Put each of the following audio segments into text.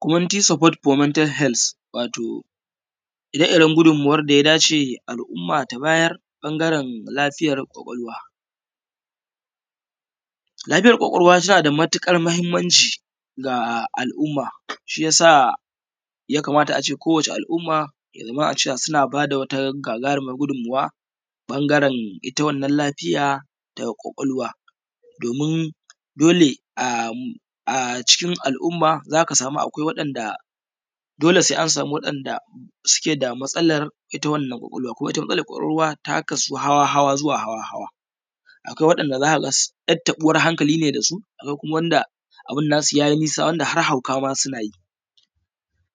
Community support for the mental health, wato ire-iren gudunmawar da al'umma ta bayar ɓangaren lafiya ƙwaƙwalwa. Lafiyar ƙwaƙwalwa tana da matukar muhimmanci ga al'umma ya kamata a kowacce al'umma suna ba da wata gagarumar gudummawa ɓangaren ita wannan lafiya ta ƙwaƙwalwa. Do:min dole a ciki al'umma za ka samu dole a samu wadanda suke da matsalar ita wannan ƙwaƙwalwa. ita wannan ƙwaƙwalwa ta kasu zuwa hawa-hawa. akwai wanda yar taɓuwar hankali ne da su, wasu kuma: har hauka ma suna yi,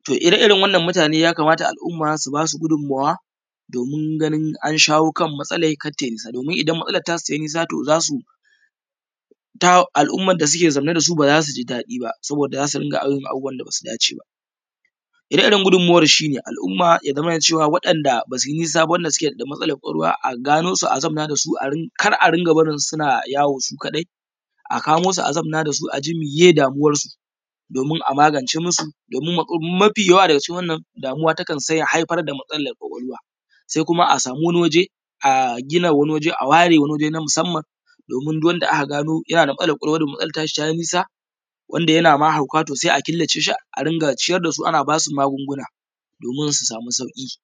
da ire-iren waɗannan mutane ya kamar har al'umma su ba su gudunmawa saboda don ganin an shawo kan matsala nasu kar ta yi nisa domin idan ta yi nisa za su al'umma da suke zaune da su ba za su ji daɗi ba saboda za yi abubuwan da ba su dace: ba. ire-iren gudunmawar shi al'umma ya zama na cewa waɗanda ba su yi nisa ba suke da ɗan matsalar ƙwaƙwalwa a gano su a zauna da su, kar a rika barin su suna yawo su kadai a kamo su a zauna da su a ji meye damuwarsu a magance musu. Domin mafi yawa damuwa takan haifar da matsalar ƙwaƙwalwa kuma: a samu wani wajen a gina waje na musamman do:min duk wanda aka gano yana da matsalar ƙwaƙwalwa da matsalar ta shi ta yi nisa yana ma hauka sai a killace shi a riƙa ciyar da su ana ba su magungunan do:min su sama sauki.